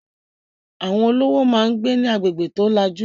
Àwọn olówó máà ń gbé ní agbègbè tó lajú